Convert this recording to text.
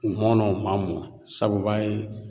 U mɔna u ma mɔ sabu u b'a ye